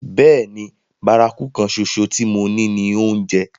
Bẹ́ẹ̀ni, bárakú kan ṣoṣo tí mo ní ni oúnjẹ.